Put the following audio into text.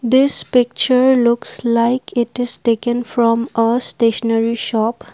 this picture looks like it is taken from a stationery shop.